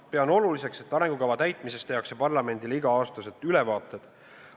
Pean oluliseks, et arengukava täitmisest tehakse parlamendile iga-aastased ülevaated.